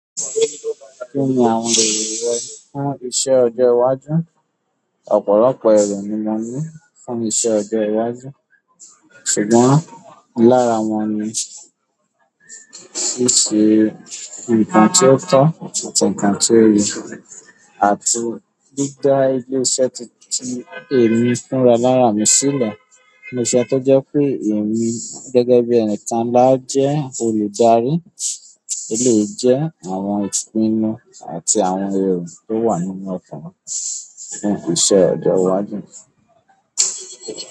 Kí ni àwọn èrò fún iṣẹ́ ọjọ́ iwájú? Ọ̀pọ̀lọpọ̀ èrò ni mo ní fún iṣẹ́ ọjọ́ iwájú, ṣùgbọ́n lára wọn ni, siṣe nǹkan tí ó tọ́ àti ǹkan tí o yẹ, àti dida ilé-iṣẹ́ tí, tí èmi fúnra lára mi sílẹ̀. Ilé-iṣẹ́ tó jẹ́ pé èmi gẹ́gẹ́ bí ẹni kan ńlá jẹ́ olùdarí, lè jẹ́ àwọn ìpinnu àti àwọn èrò tó wà nínú ọkàn fún iṣẹ́ ọjọ́ iwájú.